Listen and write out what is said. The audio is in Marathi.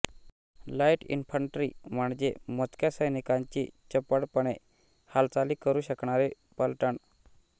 लाईट इंन्फंट्री म्हणजे मोजक्या सैनिकांची चपळपणे हालचाली करू शकणारी पलटण